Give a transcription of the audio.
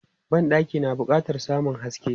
Ban ɗaki na bukatan samun haske.